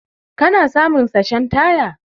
kana samu sachen taya.